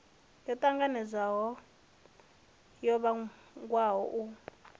yo tanganelaho yo wanwaho u